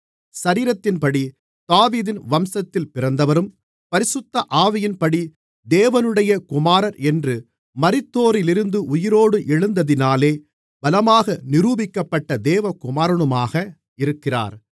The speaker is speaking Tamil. சரீரத்தின்படி தாவீதின் வம்சத்தில் பிறந்தவரும் பரிசுத்த ஆவியின்படி தேவனுடைய குமாரர் என்று மரித்தோரிலிருந்து உயிரோடு எழுந்ததினாலே பலமாக நிரூபிக்கப்பட்ட தேவகுமாரனுமாக இருக்கிறார்